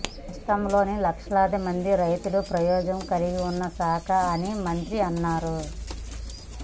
రాష్ట్రంలోని లక్షలాది మంది రైతులకు ప్రయోజనం కల్గిస్తున్న శాఖ అని మంత్రి అన్నారు